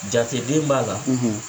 Jateden b'a la, .